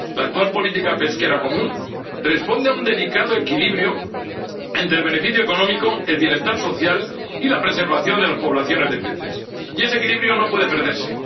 La actual política pesquera común responde a un delicado equilibrio entre el beneficio económico, el bienestar social y la preservación de las poblaciones de peces, y ese equilibrio no puede perderse.